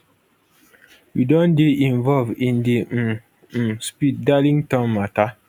we don dey involve in di um um speed darlington matta